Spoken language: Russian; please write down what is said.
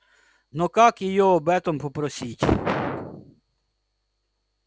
но как её об этом попросить